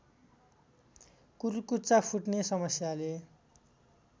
कुर्कुच्चा फुट्ने समस्याले